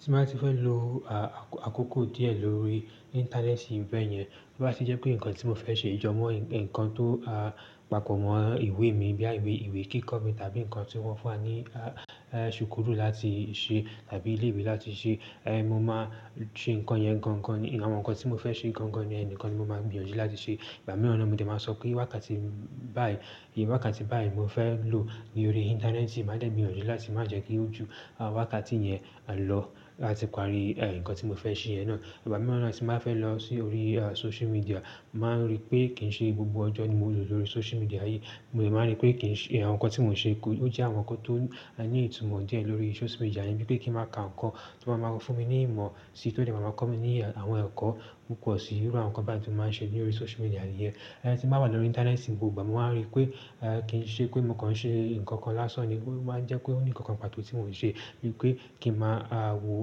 Tí n bá ti fẹ́ lo àkókò díẹ̀ lórí íńtánẹ́ẹ̀tì bẹ́ẹ̀ yẹn, tó bá ti jẹ́ pé nǹkan tí mo fẹ́ ṣe yí jọmọ́, ǹkan tó papọ̀ mọ́ ìwé mi bí i ìwé kíkọ mi tàbí nǹkan tí wọ́n fún wa ní ìṣùkúrù láti ṣe tàbí ilé ìwé láti ṣe, mo máa ṣe nǹkan yẹn gan-an. Àwọn nǹkan tí mo fẹ́ ṣe gan-an ni yẹn nìkan ni mo máa gbìyànjú láti ṣe. Ìgbà mìíràn no mo dẹ̀ máa sọ pé wákàtí báyìí, iye wákàtí báyìí mo fẹ́ lò ní orí íńtánẹ́ẹ̀tì, màá dẹ̀ gbìyànjú láti má jẹ́ kí ó ju wákàtí yẹn lọ láti parí ǹkan tí mo fẹ́ ṣe yẹn ná. Ìgbà mìíràn tí n bá fẹ́ lọ sórí social media, mo máa ń rí pé kì í ṣe gbogbo ọjọ́ ni mo lo lórí social media yìí. Mo dẹ̀ máa ń rí pé àwọn nǹkan tí mò ń ṣe, ó jẹ́ àwọn nǹkan tó ní ìtumọ̀ díẹ̀ lórí social media yìí, bíi pé kí n má ka nǹkan tí ma máa ń fún mi ní ìmọ̀ sí, tí dẹ̀ ma máa ń kọ́ mi ní àwọn ẹ̀kọ́ púpọ̀ sí irú àwọn nǹkan báyìí tí mo máa ń ṣe lórí social media nìí yẹn. Tí n bá wà lórí íńtánẹ́ẹ̀tì gbogbo ìgbà, mo máa ń rí pé kí n ṣe pé mò ka n ṣe nǹkan kan lásán ni. Ó máa ń jẹ́ pé ó ní nǹkan kan pàtó tí mò ń ṣe, bíi pé kí n má wo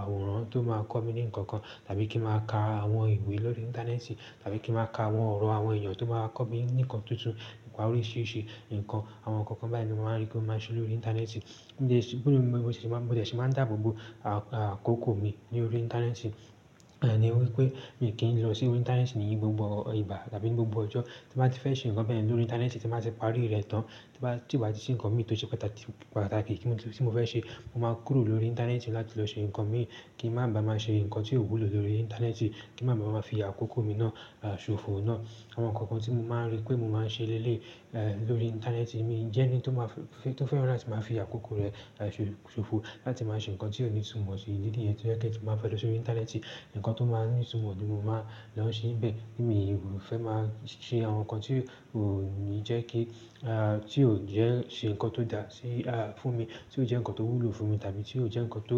àwòrán tó máa ń kọ́ mi ní nǹkan kan tàbí kí n má ka àwọn ìwé lórí íńtánẹ́ẹ̀tì tàbí kí n má ka àwọn ọ̀rọ̀ àwọn èèyàn tó máa ń kọ́ mi ní ǹkan tuntun, ni pa oríṣìíríṣìí nǹkan, àwọn nǹkan kan báyìí ni mo máa ń rí pé mo máa ń ṣe lórí íńtánẹ́ẹ̀tì. Mo sì mo dẹ̀ sì máa ń dáàbò bo àkókò mi ní orí íńtánẹ́ẹ̀tì ní wípé mi kì í lọ sórí íńtánẹ́ẹ̀tì ní gbogbo ìgbà tàbí ní gbogbo ọjọ́. Tí n bá ti fẹ́ ṣe nǹkan bẹ́ẹ̀ yen lórí íńtánẹ́ẹ̀tì tí mo bá ti parí rẹ̀ tán, tí n bá ti o bà ti sí ǹkan mi tó ṣe pàtàkì tí mo fẹ́ ṣe, mo máa kúrò lórí íńtánẹ́ẹ̀tì láti lọ ṣe ǹkan mi kí n má bá má ṣe ǹkan tí ò wùlo lórí íńtánẹ́ẹ̀tì, kí n má bá má fi àkókò mi ná ṣòfò ná. Àwọn nǹkan kan tí mo máa ń rí pé mo máa ń ṣe lélèyi lórí íńtánẹ́ẹ̀tì mi jẹ́ ẹni tó fẹ́ràn láti máa fi àkókò rẹ̀ ṣòfò láti má ṣe ǹkan tí ò ní ìtumọ̀ sí. Ìdí nìyẹn tó jẹ́ pé tí n bá fẹ́ lọ sórí íńtánẹ́ẹ̀tì, ǹkan tó máa ní ìtumọ̀ ni mo máa lọ ṣe bẹ́ẹ̀. Mi ò fẹ́ máa ṣe àwọn nǹkan tí ó ni jẹ́ kí, tí ò jẹ́ ṣe ǹkan tó dáa fún mi, tí ò jẹ́ ǹkan tó wùlo fún mi tàbí tí ò jẹ́ ǹkan tó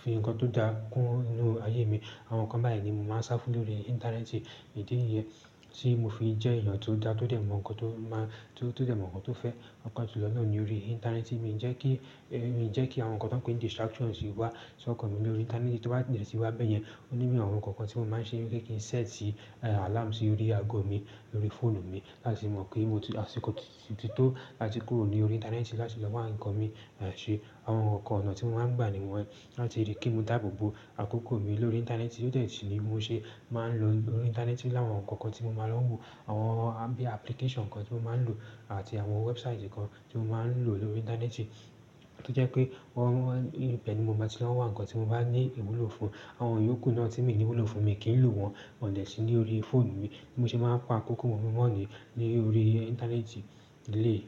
fi ǹkan tó dáa kún ínú ayé mi. Àwọn ǹkan báyìí ni mo máa ń sá fún lórí intẹrẹ́nti; ìdí niyẹn tí mo fi jẹ́ èyàn tó dá tó dé, mo ńkan tó fẹ́ pàápàá jùlọ náà lórí intẹrẹ́nti mi jẹ́ kí àwọn ǹkan tí a ń pè ní distraction wá sọkan mi lórí intẹrẹ́nti. To be de tì wá bẹ́ẹ̀ yẹn, ó ní àwọn nǹkan kan tí mo máa ń ṣe ni le ki n set alarm sí orí ago mi lórí fóònù mi láti mọ̀ pé mo ti àsìkò tító láti kúrò ní orí íńtánẹ́ẹ̀tì láti lọ wá ǹkan mi ṣe. Àwọn nǹkan onáà tí mo máa ń gbà ni wọn yen láti ríi kí n mo dáàbò bo àkókò mi lórí íńtánẹ́ẹ̀tì, ó dẹ́ sì ni bí mo ṣe máa ń lo orí íńtánẹ́ẹ̀tì o láwọn nǹkan kan tí mo máa ń lọ wo, bíi application kan tí mo máa ń lò àti àwọn website kan tí mo máa ń lò lórí íńtánẹ́ẹ̀tì, tó jẹ́ pé ibẹ́ẹ̀ ni mo máa ti lọ n wà, ǹkan tí mo bá ní ìwúlò fún, àwọn yòókù náà tí mi ní ìwúlò fúnmi, mi kì í n lò wọn won de sí ní orí fóònù mi.